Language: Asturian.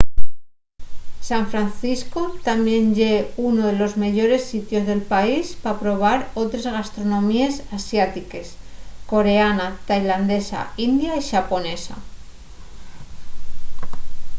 san francisco tamién ye unu de los meyores sitios del país pa probar otres gastronomíes asiátiques coreana tailandesa india y xaponesa